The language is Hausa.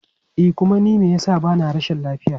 E kuma ni me yasa bana rashin lafiya.